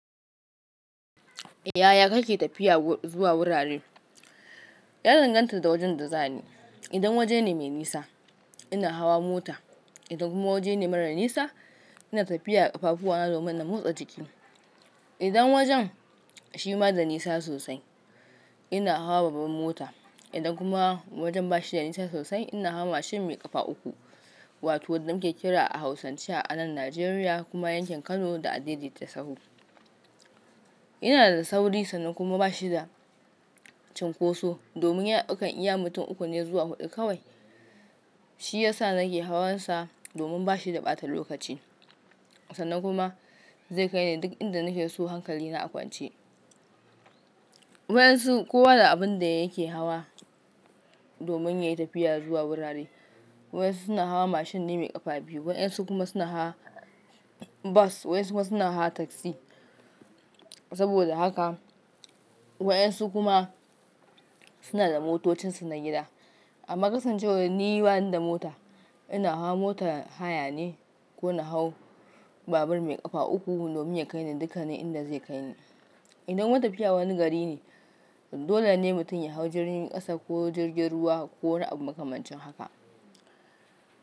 Yaya kake tafiya zuwa wurare? Ya danganta da wajen da za ni. Idan waje ne mai nisa, ina hawa mota. Idan kuma waje ne mara nisa, ina tafiya da ƙafafuwana domin na motsa jiki. Idan wajen shi ma da nisa sosai, ina hawa babbar mota. Idan kuma wajen ba shi da nisa sosai, ina hawa mashin mai ƙafa uku wato wadda muke kira a hausance a nan Najeriya kuma yankin Kano da adai daita sau. Yana da sauri kuma sannan kuma bashi da chinkoso domin yana daukan iya mutun uku ne zuwa hudu kawaii shiyasa nake awan sa domin bashi da bata lokaci. Sannan kuma zai kai ni duk inda nake so hankali na a kwance. Wayansu kowa da abin da yake hawa domin yayi tafiya zuwa wurare. Wayansu suna hawa mashin ne mai ƙafa biyu, waxansu kuma suna hawa bus, wayansu kuma suna hawa taxi. Saboda haka waɗansu kuma suna da motocinsu na gida. Amma kasancewar ni banida mota, ina hawa motar haya ne ko na hau babur mai ƙafa uku domin ya kai ni dukannin inda zai kai ni. Idan wata tafiya wani gari ne, dole ne mutum ya hau jirgin ƙasa ko jirgin ruwa ko wani abu makamancin haka.